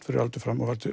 fyrir aldur fram og